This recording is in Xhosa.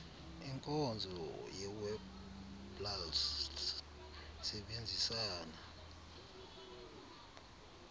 inkonzo yewebpals isebenzisana